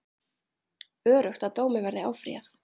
Öruggt að dómi verði áfrýjað